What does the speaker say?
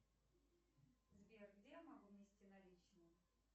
сбер где я могу внести наличные